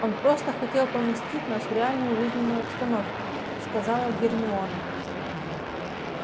он просто хотел поместить нас в реальную жизненную обстановку сказала гермиона